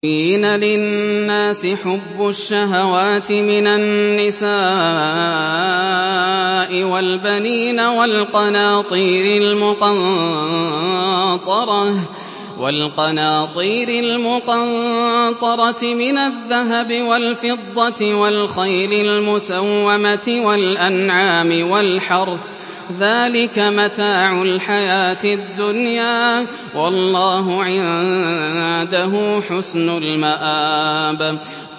زُيِّنَ لِلنَّاسِ حُبُّ الشَّهَوَاتِ مِنَ النِّسَاءِ وَالْبَنِينَ وَالْقَنَاطِيرِ الْمُقَنطَرَةِ مِنَ الذَّهَبِ وَالْفِضَّةِ وَالْخَيْلِ الْمُسَوَّمَةِ وَالْأَنْعَامِ وَالْحَرْثِ ۗ ذَٰلِكَ مَتَاعُ الْحَيَاةِ الدُّنْيَا ۖ وَاللَّهُ عِندَهُ حُسْنُ الْمَآبِ